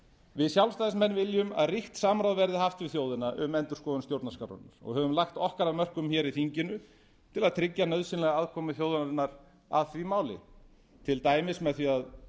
við sjálfstæðismenn viljum að ríkt samráð verði haft við þjóðina um endurskoðun stjórnarskrárinnar og höfum lagt okkar af mörkum hér í þinginu til að tryggja nauðsynlega að komu þjóðarinnar að því máli til dæmis með því að